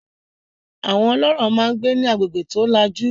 Àwọn ọlọ́rọ̀ máa ń gbé ní agbègbè tó lajú.